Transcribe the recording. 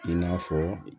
I n'a fɔ